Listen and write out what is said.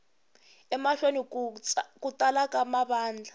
emahlweni ku tala ka mavandla